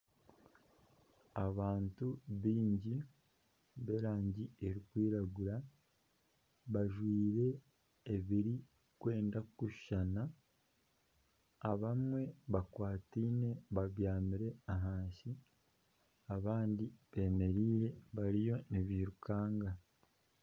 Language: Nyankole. Abantu baingi ba erangi erikwiragura bajwaire ebirikwenda kushushana abamwe bakwataine babyamire ahansi abandi bemereire bariyo nibeirukanga.